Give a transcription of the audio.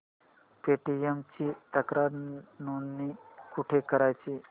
Paytm ची तक्रार नोंदणी कुठे करायची